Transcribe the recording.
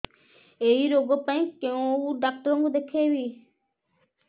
ଏଇ ରୋଗ ପାଇଁ କଉ ଡ଼ାକ୍ତର ଙ୍କୁ ଦେଖେଇବି